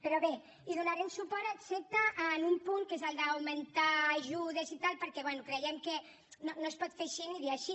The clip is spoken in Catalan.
però bé hi donarem suport excepte en un punt que és el d’augmentar ajudes i tal perquè bé creiem que no es pot fer així ni dir així